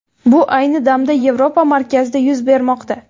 Bu ayni damda Yevropa markazida yuz bermoqda.